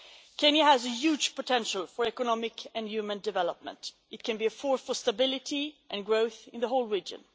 Kenya has huge potential for economic and human development, it can be a force for stability and growth in the whole region.